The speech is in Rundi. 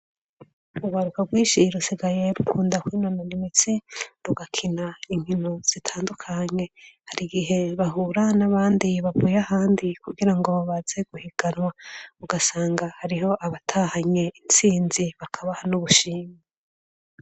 Urwaruka rwishi rusigaye rukunda kwinona imitsi rugakina inkino zitandukanye hari igihe bahura n'abandi bavuye ahandi kugira ngo babaze guhiganwa ugasanga hariho abatahanye intsinzi bakaba n'ubushimi